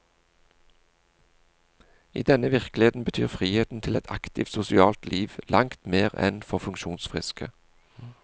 I denne virkeligheten betyr friheten til et aktiv sosialt liv langt mer enn for funksjonsfriske.